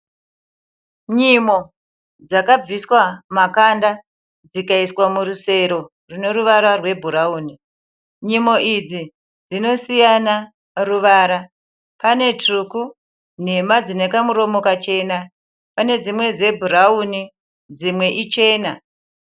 Nyimo dzakabviswa makanda dzikayiswa murusero rine ruvara rwebhurauni, nyimo idzi dzinosiyana ruvara. Pane tsvuku nhema dzine kamuromo kachena. Pane dzimwe dzebhurauni, dzimwe ichena.